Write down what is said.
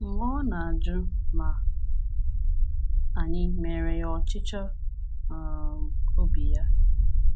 mgbe ọ na-ajụ ma anyị meere ya ọchịchọ um obi ya.